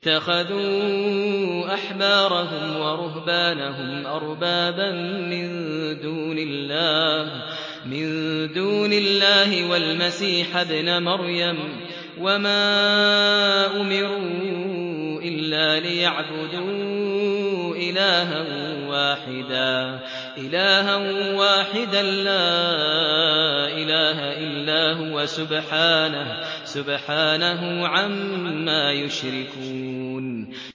اتَّخَذُوا أَحْبَارَهُمْ وَرُهْبَانَهُمْ أَرْبَابًا مِّن دُونِ اللَّهِ وَالْمَسِيحَ ابْنَ مَرْيَمَ وَمَا أُمِرُوا إِلَّا لِيَعْبُدُوا إِلَٰهًا وَاحِدًا ۖ لَّا إِلَٰهَ إِلَّا هُوَ ۚ سُبْحَانَهُ عَمَّا يُشْرِكُونَ